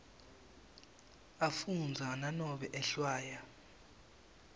afundza nanobe ehlwaya